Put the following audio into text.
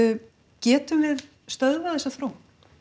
getum við stöðvað þessa þróun